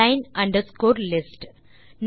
line underscore list